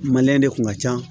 de kun ka ca